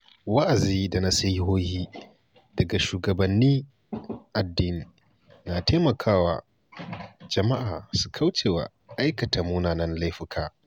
Wa’azi da nasihohi daga shugabannin addini na taimakawa jama’a su kauce wa aikata munanan laifuka.